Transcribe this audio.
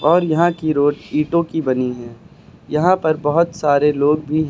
और यहां की रोड ईंटों की बनी है यहां पर बहोत सारे लोग भी है।